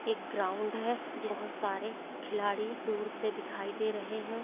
एक ग्राउंड है बहुत सारे खिलाडी दूर से दिखाई दे रहे हैं।